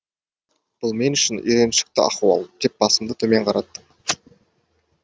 бұл мен үшін үйреншікті ахуал деп басымды төмен қараттым